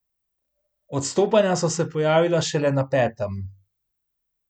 Odstopanja so se pojavila šele na petem.